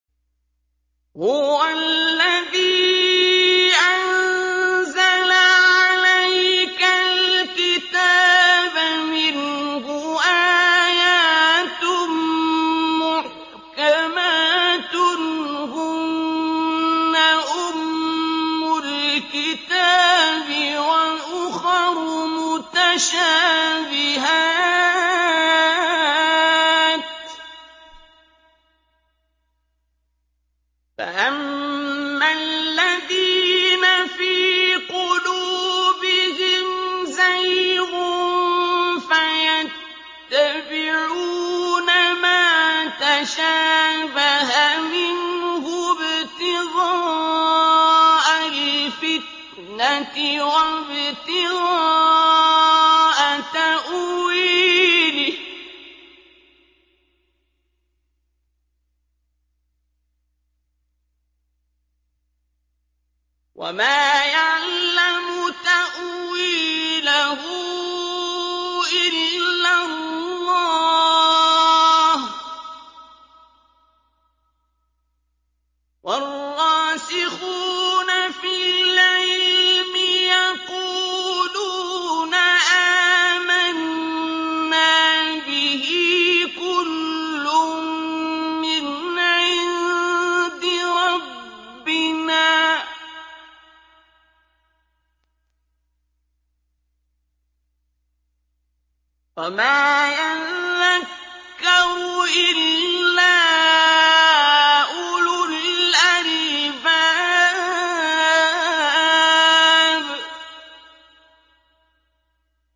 هُوَ الَّذِي أَنزَلَ عَلَيْكَ الْكِتَابَ مِنْهُ آيَاتٌ مُّحْكَمَاتٌ هُنَّ أُمُّ الْكِتَابِ وَأُخَرُ مُتَشَابِهَاتٌ ۖ فَأَمَّا الَّذِينَ فِي قُلُوبِهِمْ زَيْغٌ فَيَتَّبِعُونَ مَا تَشَابَهَ مِنْهُ ابْتِغَاءَ الْفِتْنَةِ وَابْتِغَاءَ تَأْوِيلِهِ ۗ وَمَا يَعْلَمُ تَأْوِيلَهُ إِلَّا اللَّهُ ۗ وَالرَّاسِخُونَ فِي الْعِلْمِ يَقُولُونَ آمَنَّا بِهِ كُلٌّ مِّنْ عِندِ رَبِّنَا ۗ وَمَا يَذَّكَّرُ إِلَّا أُولُو الْأَلْبَابِ